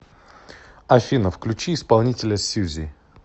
афина включи исполнителя сюзи